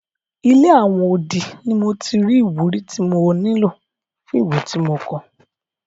Ilé àwọn odi ni mo ti rí ìwúrí tí mo nílò fún ìwé tí mo kọ.